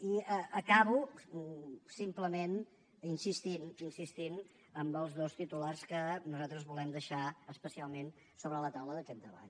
i acabo simplement insistint insistint en els dos titulars que nosaltres volem deixar especialment sobre la taula d’aquest debat